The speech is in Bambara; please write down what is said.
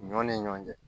Ɲɔ ni ɲɔgɔn cɛ